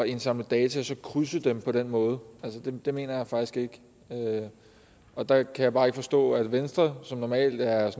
indsamle data og så krydse dem på den måde altså det mener jeg faktisk ikke og der kan jeg bare ikke forstå at venstre som normalt er